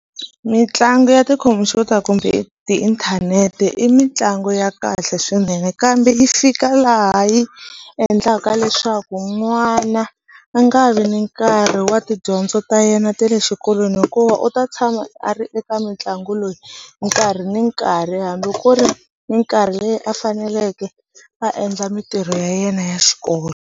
Mintlangu ya tikhomphyuta kumbe tiinthanete i mitlangu ya kahle swinene kambe yi fika laha yi endlaka leswaku n'wana a nga vi ni nkarhi wa tidyondzo ta yena ta le xikolweni hikuva u ta tshama a ri eka mitlangu nkarhi ni nkarhi hambi ku ri mikarhi leyi a faneleke a endla mitirho ya yena ya xikolo.